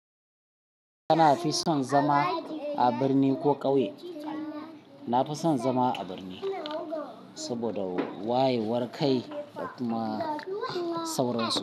Kana fi son zama a birni ko ƙauye? Na fi son zama a birni saboda wayewar kai da kuma sauransu.